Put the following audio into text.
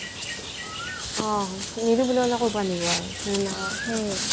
অ নিদিও বুলি ক্'লে ক'ৰ পৰাই নিব আৰু